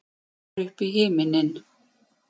Hlær upp í himininn.